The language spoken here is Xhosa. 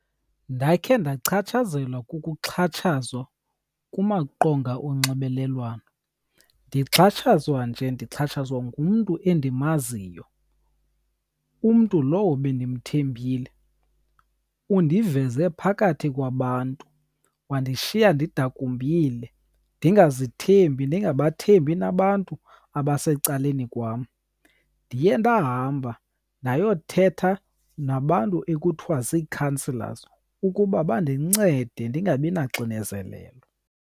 Ndakhe ndachatshazelwa kukuxhatshazwa kumaqonga onxibelelwano. Ndixhatshazwa nje ndixhatshazwa ngumntu endimaziyo, umntu lowo bendimthembile. Undiveze phakathi kwabantu, wandishiya ndidakumbile, ndingazithembi, ndingabathembi nabantu abasecaleni kwam. Ndiye ndahamba ndayothetha nabantu ekuthiwa zii-counsellors ukuba bandincede ndingabi naxinezelelo.